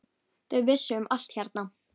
Þau vissu um allt hérna.